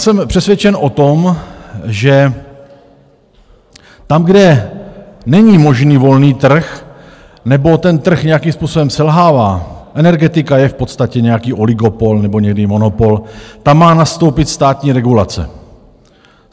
Jsem přesvědčen o tom, že tam, kde není možný volný trh nebo ten trh nějakým způsobem selhává, energetika je v podstatě nějaký oligopol nebo někdy monopol, tam má nastoupit státní regulace.